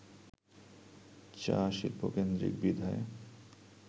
চা-শিল্পকেন্দ্রিক বিধায়